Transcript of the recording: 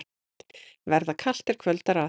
Verða kalt, er kvöldar að.